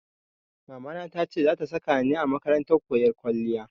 Mamana ta ce za ta saka ni a makarantar koyon kwalliya.